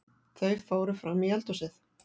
Þau fóru frammí eldhúsið.